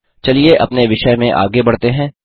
चलिए अपने विषय में आगे बढ़ते हैं